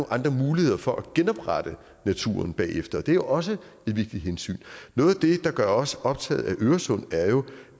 andre muligheder for at genoprette naturen bagefter det er også et vigtigt hensyn noget af det der gør os optaget af øresund er jo